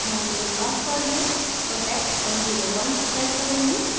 मैं मेरे password में protect101 set करुँगी